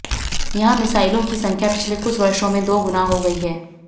यहां मिसाइलों की संख्या पिछले कुछ वर्षो में दो गुना हो गई हैं